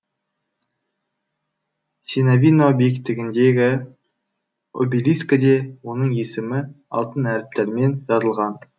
синявино биіктігіндегі обелискіде оның есімі алтын әріптермен жазылған